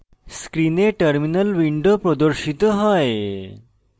screen terminal window প্রদর্শিত হয়